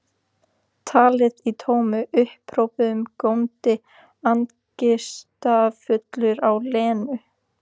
Talaði í tómum upphrópunum, góndi angistarfullur á Lenu.